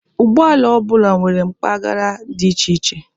Ụgbọ ala ọ bụla nwere mpagara dị iche iche.